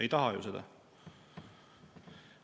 Ei taha ju seda.